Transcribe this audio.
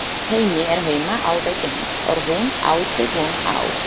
Hemmi er heima alveg eins og hún átti von á.